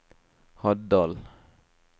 Haddal